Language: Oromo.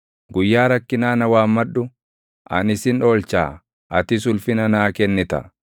guyyaa rakkinaa na waammadhu; ani sin oolchaa; atis ulfina naa kennita.”